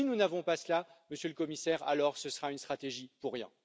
Si nous n'avons pas cela, Monsieur le Commissaire, ce sera une stratégie pour rien.